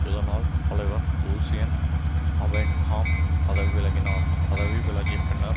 இதனால் தலைவர் Lucien Abenham பதவி விலகினார் பதவி விலகிய பின்னர்